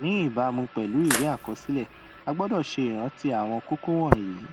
ní ìbámu pèlú ìwé àkọsílẹ a gbọdọ ṣe ìrántí àwọn kókó wọnyí